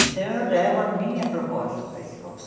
Então, eu levo a minha proposta para a escola.